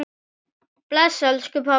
Bless, elsku pabbi.